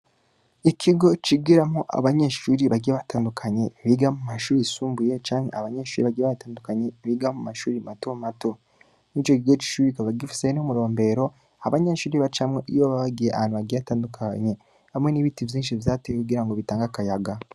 Ikigo cigiramwo abanyeshure bagiye batandukanye biga mu mashure yisumbuye canke abanyeshure bagiye batandukanye biga mu mashure mato mato. Ico kigo c'ishure kikaba gifise n'umurombero abanyeshure bacamwo iyo baba bagiye ahantu hatandukanye, hamwe n'ibiti vyinshi vyatewe kugirango bitange akayaga.